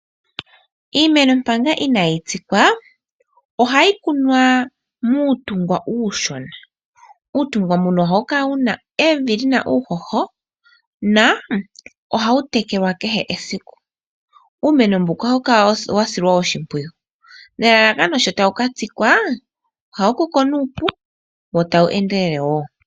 Iimeno manga inaayi tsikwa ohayi kunwa muutungwa uushona. Uutungwa mbuno ohawu kala wuna evi lyina uuhoho na ohawu telelwa kehe esiku. Uumeno mbuka ohawu kala wasilwa oshimpwiyu nelalakano sho tawu katsikwa ohawu koko nuupu wo tawu endelele wo.